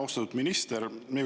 Austatud minister!